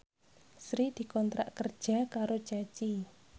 Sri dikontrak kerja karo Ceci